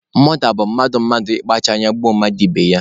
Mọda bụ mmadụ mmadụ ị kpachara anya gbuo mmadụ ibe ya.